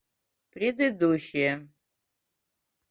предыдущая